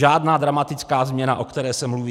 Žádná dramatická změna, o které se mluví.